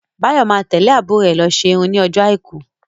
Báyọ̀ má tẹ́lẹ̀ àbúrò rè lọ ṣe irun ní ọjọ́ àìkú